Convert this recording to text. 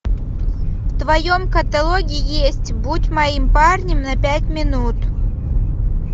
в твоем каталоге есть будь моим парнем на пять минут